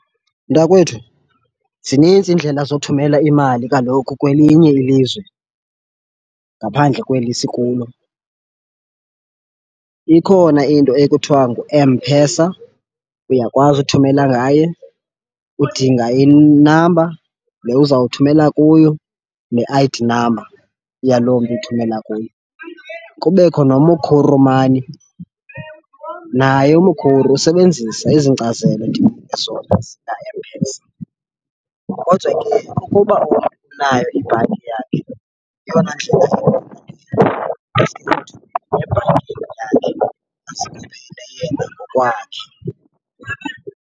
Mntakwethu, zininzi iindlela zothumela imali kaloku kwelinye ilizwe ngaphandle kweli sikulo. Ikhona into ekuthiwa ngu-M_PESA, uyakwazi uthumela ngaye. Udinga inamba le uzawuthumela kuyo ne-I_D namba yaloo mntu uthumela kuye. Kubekho noMukuru Money, naye uMukuru usebenzisa ezi nkcazelo ndikunika zona ezika-M_PESA. Kodwa ke ukuba unayo ibhanki yakhe yeyona ndlela ilula leyo, ebhankini yakhe aze aphinde ayiyele ngokwakhe.